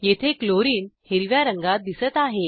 येथे क्लोरीन हिरव्या रंगात दिसत आहे